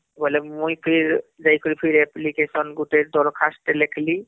ବୋଇଲେ ମୁଇଁ ଫିର ଯାଇକିରି ଫିର application ଗୁଟେ ଦରଖାସ୍ତ ଲେଖିଲି